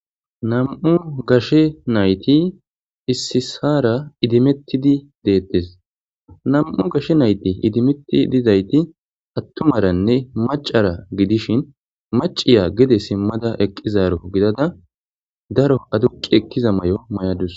Nam7u gashe naythi ississaara idimeththidi deeththes; nam7u gashe naythi idimeththi didaythi aththumaranne maccara gidishin macciya gede simmada eqqizaaro gidada daro aduqqi ekkiza may7o may7a dawus.